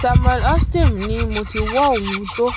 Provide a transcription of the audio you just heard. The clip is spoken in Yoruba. samuel osteom ni mo ti wo ohun tó